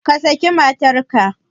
Ka saki matarka!